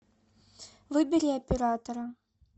выбери оператора